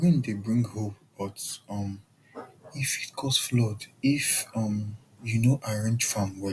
rain dey bring hope but um e fit cause flood if um you no arrange farm well